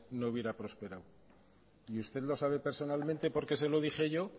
no hubiera prosperado y usted lo sabe personalmente porque se lo dije yo